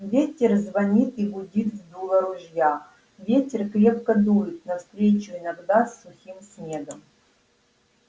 ветер звонит и гудит в дуло ружья ветер крепко дует навстречу иногда с сухим снегом